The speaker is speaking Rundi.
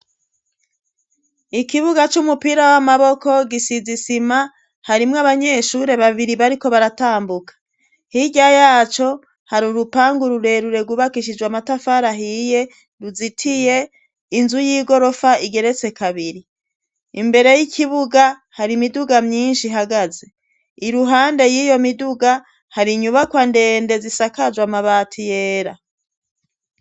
Ikibuga c'umupira w'amaboko gisize isima harimwo abanyeshure babiri bariko baratambuka, hirya yaco hari urupanga rurerure rwubakishijwe amatafari ahiye ruzitiye, inzu y'igorofa igeretse kabiri, imbere y'ikibuga hari imiduga myinshi ihagaze, iruhande y'iyo miduga hari inyubakwa ndende zisakajwe amabati yera.